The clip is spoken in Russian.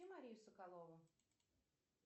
марию соколову